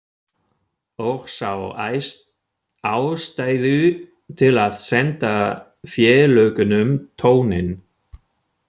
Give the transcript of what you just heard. Og sá ástæðu til að senda félögunum tóninn.